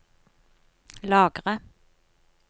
lagre